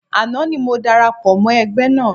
Àná ni mo darapọ̀ mọ́ ẹgbẹ́ náà